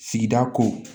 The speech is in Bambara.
Sigida ko